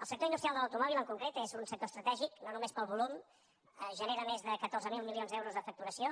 el sector industrial de l’automòbil en concret és un sector estratègic no només pel volum genera més de catorze mil milions d’euros de facturació